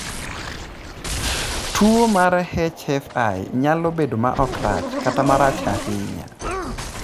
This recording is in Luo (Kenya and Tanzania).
Tuwo mar HFI nyalo bedo ma ok rach kata marach ahinya.